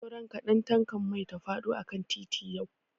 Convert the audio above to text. Sauran kaɗan tankan mai ta faɗo akan titi yau.